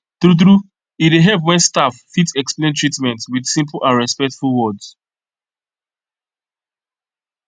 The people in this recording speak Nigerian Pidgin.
true true e dey help when staff fit explain treatment with simple and respectful words